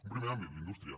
un primer àmbit la indústria